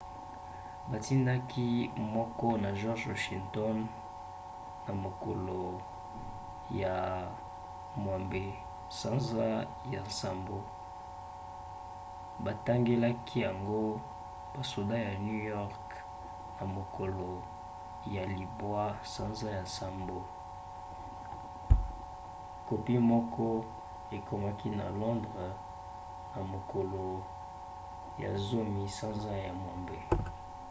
batindaki moko na george washington na mokolo ya 6 sanza ya nsambo; batangelaki yango basoda na new york na mokolo ya 9 sanza ya nsambo. kopi moko ekomaki na londres na mokolo ya 10 sanza ya mwambe